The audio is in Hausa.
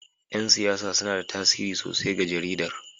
Yan siyasa suna da tasiri sosai ga jaridar